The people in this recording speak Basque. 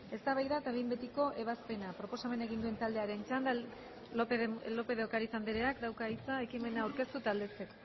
eztabaida eta behin betiko ebazpena proposamena egin duen taldearen txanda lópez de ocariz andreak dauka hitza ekimena aurkeztu eta aldezteko